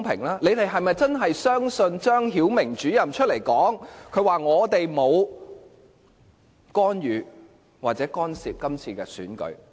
他們是否真的相信張曉明主任沒有干預或干涉今次選舉？